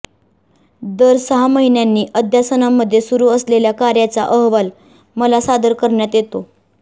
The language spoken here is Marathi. दर सहा महिन्यांनी अध्यासनांमध्ये सुरू असलेल्या कार्याचा अहवाल मला सादर करण्यात येतो